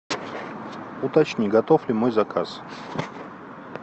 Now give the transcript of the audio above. уточни готов ли мой заказ